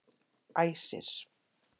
Æsir